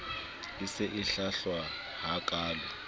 e se e hlwahlwa hakaalo